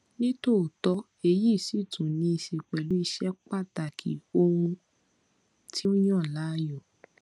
nítòótọ èyí sì tún níí ṣe pẹlú ìṣe pàtàkì ohun tí o yàn láàyò